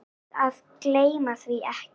Best að gleyma því ekki.